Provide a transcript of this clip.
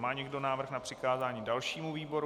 Má někdo návrh na přikázání dalšímu výboru?